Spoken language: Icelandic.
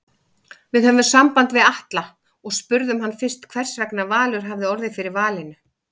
Við höfðum samband við Atla og spurðum hann fyrst hversvegna Valur hafi orðið fyrir valinu?